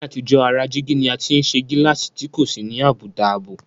Ní àtijọ́, ara jígí ni a ti ń ṣe gíláàsì tí kò sì ní àbùdá ààbò